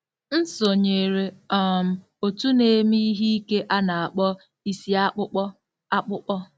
M sonyeere um òtù na-eme ihe ike a na-akpọ isi akpụkpọ akpụkpọ.